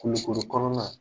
Kulukoro kɔnɔna.